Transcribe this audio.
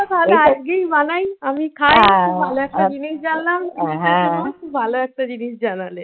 তাহলে আজকেই বানাই, আমি খাই খুব ভালো একটা জিনিস জানালে।